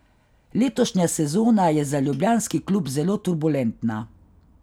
Letošnja sezona je za ljubljanski klub zelo turbulentna.